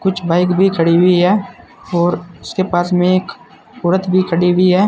कुछ बाइक भी खड़ी हुई है और उसके पास में एक औरत भी खड़ी हुई है।